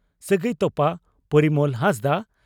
ᱥᱟᱹᱜᱟᱹᱭ ᱛᱚᱯᱟ (ᱯᱚᱨᱤᱢᱚᱞ ᱦᱟᱸᱥᱫᱟ)